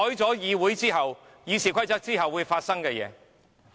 這便是修改《議事規則》之後會發生的情況。